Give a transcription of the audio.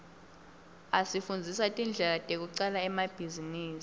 asifundzisa tindlela tekucala emabhizinisi